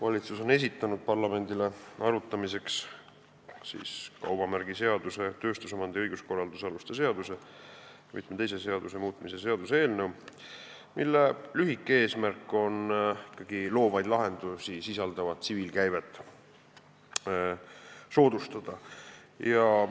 Valitsus on esitanud parlamendile arutamiseks kaubamärgiseaduse, tööstusomandi õiguskorralduse aluste seaduse ja teiste seaduste muutmise seaduse eelnõu, mille eesmärk lühidalt öeldes on soodustada loovaid lahendusi sisaldavat tsiviilkäivet.